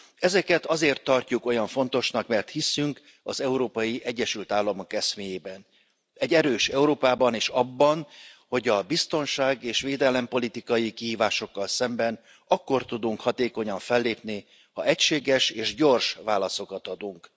Ezeket azért tartjuk olyan fontosnak, mert hiszünk az Európai Egyesült Államok eszméjében, egy erős Európában, és abban, hogy a biztonság és védelempolitikai kihívásokkal szemben akkor tudunk hatékonyan fellépni, ha egységes és gyors válaszokat adunk.